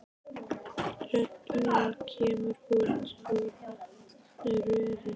Rödd mín kemur út úr röri.